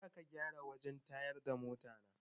Jiya aka gyara wajen tayar da mota na